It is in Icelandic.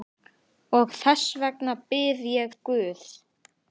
Og þess vegna bið ég guð.